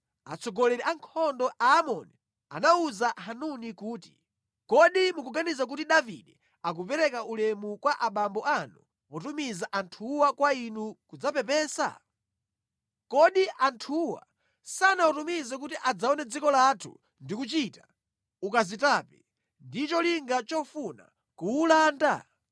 atsogoleri a ankhondo a Aamoni anawuza Hanuni kuti, “Kodi mukuganiza kuti Davide akupereka ulemu kwa abambo anu potumiza anthuwa kwa inu kudzapepesa? Kodi anthuwa sanawatumize kuti adzaone dziko lathu ndi kuchita ukazitape ndi cholinga chofuna kuwulanda?”